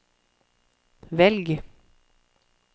velg